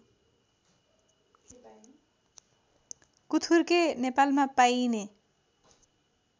कुथुर्के नेपालमा पाइने